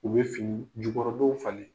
U bɛ fini jukɔrɔdonw falen.